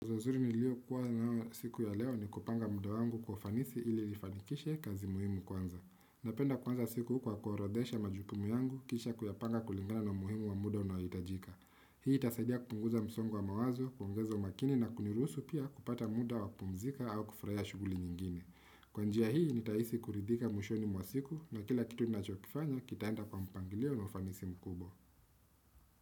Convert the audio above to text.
Uzuri ni lio kuwa nao siku ya leo ni kupanga mda wangu kwa ufanisi ili nifanikishe kazi muhimu kwanza. Napenda kuanza siku kwa kuorodhesha majukumu yangu kisha kuyapanga kulingana na umuhimu wa muda unayohitajika. Hii tasaidia kupunguza msongo wa mawazo, kuongeza umakini na kuniruhusu pia kupata muda wa kupumzika au kufurahia shughuli nyingine. Kwanjia hii nitahisi kuridhika mwishoni mwasiku na kila kitu nachokifanya kitaenda kwa mpangilio na ufanisi mkubwa.